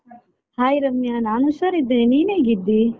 Hai Ramya ನಾನ್ ಹುಷಾರಿದ್ದೇನೆ ನೀನ್ ಹೇಗಿದ್ದೀ?